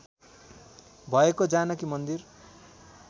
भएको जानकी मन्दिर